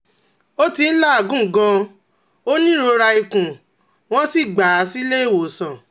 Ó ti ń làágùn gan-an, ó ní ìrora ikùn, wọ́n sì gbà á sílé ìwòsàn